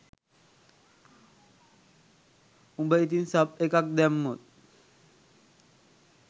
උඹ ඉතින් සබ් එකක් දැම්මොත්